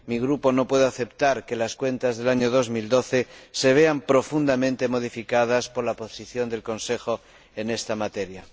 Mi Grupo no puede aceptar que las cuentas del año 2012 se vean profundamente modificadas por la posición del Consejo en esta materia.